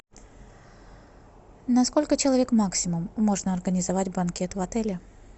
на сколько человек максимум можно организовать банкет в отеле